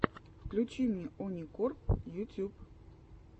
включи мне оникорп ютьюб